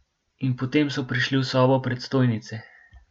In potem so prišli v sobo predstojnice.